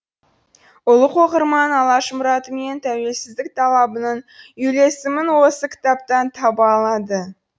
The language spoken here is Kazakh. ұлық оқырман алаш мұраты мен тәуелсіздік талабының үйлесімін осы кітаптан таба алады